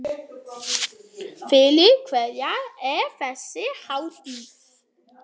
Fyrir hverja er þessi hátíð?